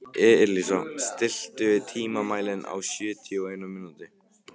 Elísa, stilltu tímamælinn á sjötíu og eina mínútur.